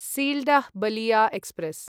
Sealdah Ballia express